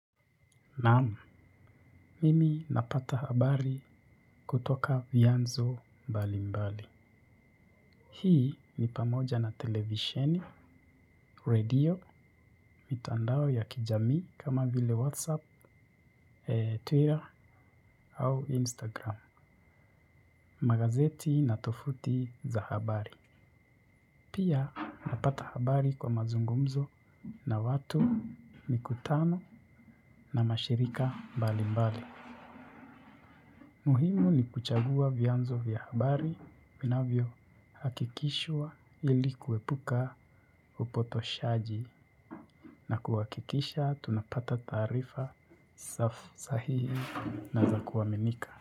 Naam, mimi napata habari kutoka vyanzo mbali mbali. Hii ni pamoja na televisheni, radio, mitandao ya kijamii kama vile whatsapp, twitter au instagram. Magazeti na tofuti za habari. Pia, napata habari kwa mazungumzo na watu, mikutano na mashirika mbali mbali. Muhimu ni kuchagua vyanzo vya habari vinavyohakikishwa ili kuepuka upotoshaji na kuhakikisha tunapata taarifa safi, sahihi na za kuaminika.